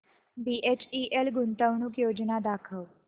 BHEL गुंतवणूक योजना दाखव